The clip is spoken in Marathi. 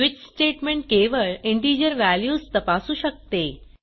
स्विच स्टेटमेंट केवळ इंटिजर व्हॅल्यूज तपासू शकते